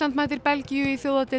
mætir Belgíu í